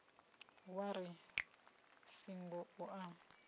wa ri singo u a